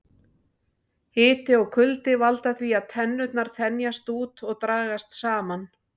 Hiti og kuldi valda því að tennurnar þenjast út og dragast saman.